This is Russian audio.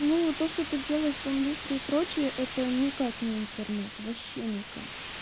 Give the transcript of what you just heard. ну то что ты делаешь там люстрой и прочее это никак не интернет вообще никак